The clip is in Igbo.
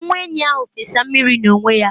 nwa enyí ahụ fesa mmiri n’onwe ya